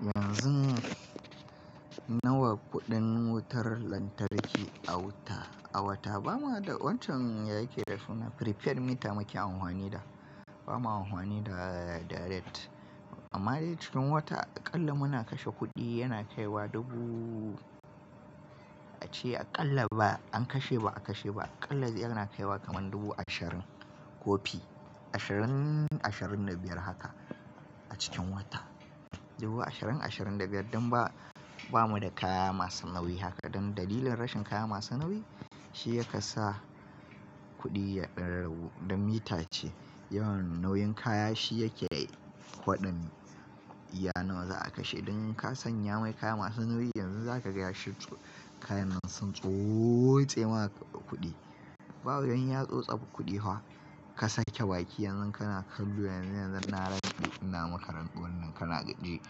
Yanzun nawa kuɗin wutar lantarki a wata? A wata ba ma da wancan ya yake da suna prepared mita muke anhwani da. Ba ma anhwani da direct amma dai cikin wata aƙalla muna kashe kuɗi yana kai wa dubu ace aƙalla ba an kashe ba a kashe ba aƙalla zai yana kai wa kaman dubu ashirin ko fi. Ashirin, ashirin da biyar haka a cikin wata. Dubu ashirin, ashirin da biyar don ba, ba mu da kaya masu nauyi haka. Don dalilin rashin kaya masu nauyi shi yaka sa kuɗi ya dan ragu dan mita ce. Yawan nauyin kaya shi yake kwaɗin iya nawa za a kashe. Dan ka sanya mai kaya masu nauyi yanzu za ka ga ya shirtso. Kaya nan sun tsotse ma kuɗi. Ba wajen ya tsotsaɓi kuɗi haka ka sake baki yanzu kana kallo yanzu, yanzu na ran ɗari goma karanduhun nan kana gani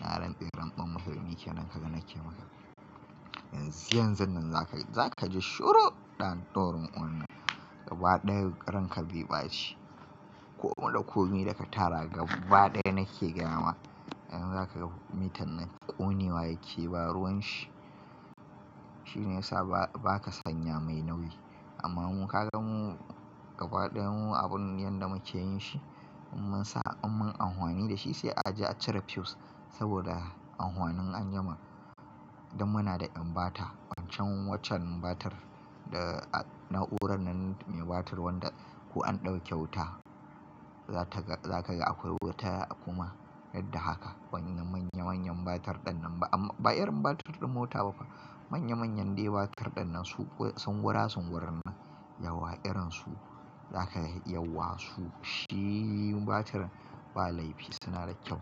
ran ɗari karanduhun makaranta yake nan kaga nake maka. Yanzu, yanzun nan za ka ji shoro ɗanɗoron wannan gaba ɗaya ranka bibace. Komi da komi da ka tara gaba ɗaya nake gaya ma yanzu za ka ga mitan nan ta kuni wa yake ba ruwan shi. Shi ne ya sa ba ka sanya mai nauyi amma mun ka gan mu gaba ɗaya mu abun yanda muke yin shi mun sa mun anuwani da shi sai a je a cire fuse saboda anwanin anyi mam. Don muna da ɓata wancan waccan ɓatar na'urar nan mai ɓatar wanda ko an ɗauke wuta za ka ga akwai wuta kuma yadda haka. Wanya manya manyan ɓatar ɗannan ba amma ba irin ɓatar din mota ba fa. Manya manyan dai ɓatar ɗannan su sun gurasu gurar nan yawa irin su za ka ga yawa su shi ɓatarin ba laifi suna da kyau.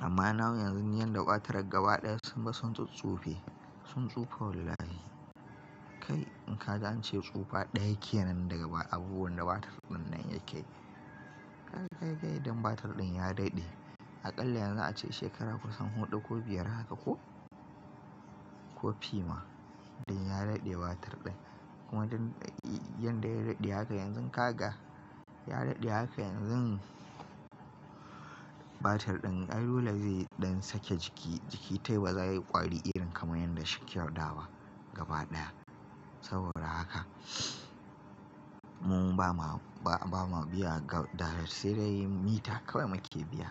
Amma nauyin yanzu yanda bataran gaba ɗaya sun ba sun tsutsufe sun tsufa wallahi. Kai in ka gane cewa tsufa ɗaya yake nan daga abubuwan da batar ɗannan yake ka ga kai ga idan batar ɗin ya daɗe. Aƙalla yanzu ace shekara kusan huɗu ko biyar haka ko ko fi ma don ya daɗe batar ɗin. Kuma don yanda ya daɗe haka yanzun ka ga ya daɗe haka yanzun batar ɗin allula zai yi don sake jiki. Jiki ta ba za yi ƙwari irin kaman yanda shi ke yaɗawa gaba ɗaya. Saboda haka mu ba ma, ba ma biya direct sai dai mita kawai muke biya.